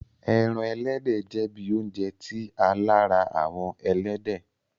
Ẹ́ran ẹlẹdẹ jẹ̀ bí ọ̀unjẹ̀ ti a làárà awọn ẹlẹdẹ.